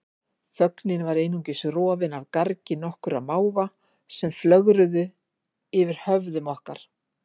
Þögnin var einungis rofin af gargi nokkurra máva sem flögruðu yfir höfðum okkar.